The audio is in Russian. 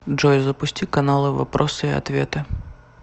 джой запусти каналы вопросы и ответы